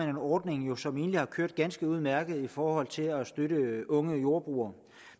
en ordning som egentlig har kørt ganske udmærket i forhold til at støtte unge jordbrugere